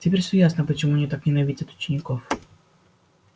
теперь всё ясно почему они так ненавидят учеников